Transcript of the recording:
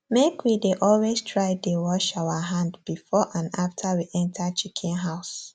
make we dey always try dey wash our hand before and after we enter chicken house